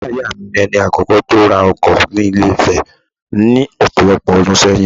Bàbá ìyá mi, ni ẹni àkọ́kọ́ tó ra ọkọ ni Ilé-Ifẹ̀ ní ọ̀pọ̀lọpọ̀ ọdún ṣẹ́yìn